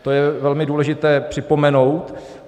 To je velmi důležité připomenout.